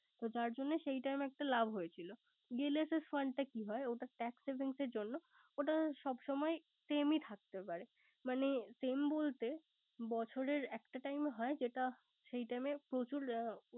তো তার জন্য Time লাভ হয়েছিল। ELSS fund টা কি হয়। ওটা tax saving জন্য ওটা same ই থাকতে পারে। মানে same বলতে বছরের একটা time হয় সেটা সেই time প্রচুর লাভ